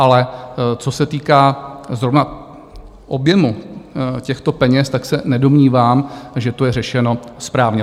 Ale co se týká zrovna objemu těchto peněz, tak se nedomnívám, že to je řešeno správně.